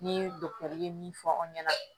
Ni dɔgɔtɛri ye min fɔ aw ɲɛna